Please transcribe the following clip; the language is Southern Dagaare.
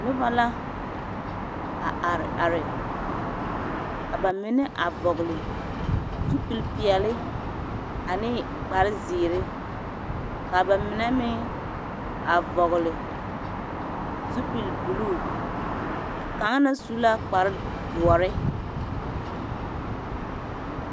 Noba la a are are ka ba mine a vɔgle zupilipeɛle ane kparezeere ka ba mine meŋ a vɔgle zupilibulu a kaŋ na su la kparedoɔre.